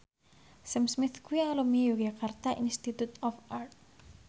Sam Smith kuwi alumni Yogyakarta Institute of Art